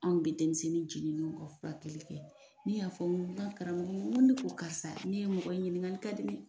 Anw kɔni bɛ denmisɛnnin jenilen ka fila kelenli kɛ ne y'a fɔ karamɔgɔ de ko karisa ne ye mɔgɔ ɲininka ka di.